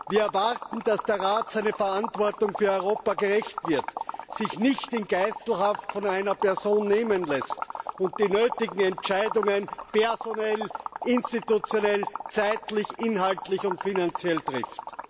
Wir erwarten, dass der Rat seiner Verantwortung für Europa gerecht wird, sich nicht in Geiselhaft von einer Person nehmen lässt und die nötigen Entscheidungen personell, institutionell, zeitlich, inhaltlich und finanziell trifft.